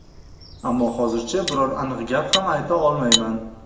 Ammo hozircha biror aniq gap ham ayta olmayman.